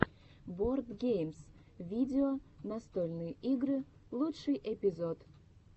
боардгеймс видео настольные игры лучший эпизод